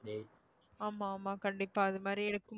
ஆமா ஆமா கண்டிப்பா அது மாதிரி இருக்கும்